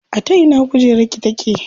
A ta ina kujerar ki take?